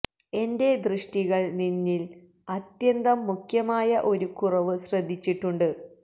എന്റെ ദൃഷ്ടികള് നിന്നില് അത്യന്തം മുഖ്യമായ ഒരു കുറവ് ശ്രദ്ധിച്ചിട്ടുണ്ട്